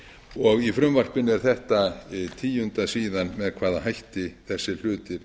og í frumvarpinu er þetta tíundað síðan með hvaða hætti þessir hlutir